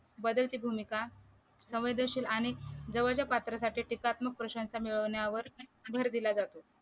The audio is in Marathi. बदलची भूमिका संवेदशील आणि जवळच्या पात्रासाठी टीकात्मक प्रशंसा मिळवण्यावर भर दिला जातो